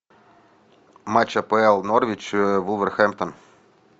матч апл норвич вулверхэмптон